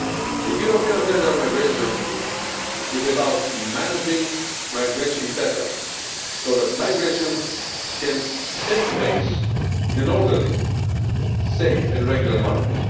The European Agenda on Migration is about managing migration better so that migration can take place in an orderly, safe and regular manner.